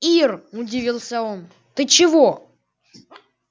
ир удивился он ты чего